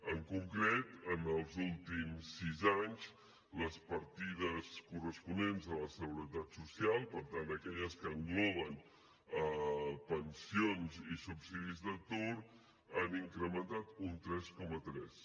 en concret en els últims sis anys les partides corresponents a la seguretat social per tant aquelles que engloben pensions i subsidis d’atur s’han incrementat un tres coma tres